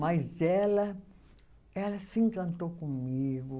Mas ela, ela se encantou comigo.